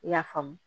I y'a faamu